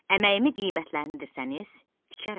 Əməyimi qiymətləndirsəniz, tikərəm.